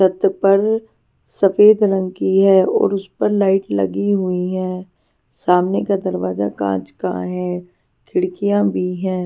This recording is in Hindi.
छत पर सफेद रंग की है और उस पर लाइट लगी हुई है सामने का दरवाजा कांच का है खिड़कियां भी हैं.